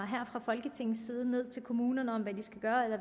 her fra folketingets side ned til kommunerne om hvad de skal gøre eller